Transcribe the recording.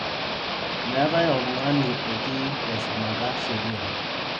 Meetai oltung'ani otii teshumata sheriaa